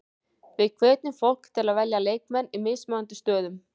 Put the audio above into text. Við hvetjum fólk til að velja leikmenn í mismunandi stöðum.